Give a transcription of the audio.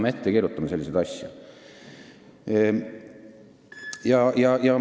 Miks me peame selliseid asju ette kirjutama?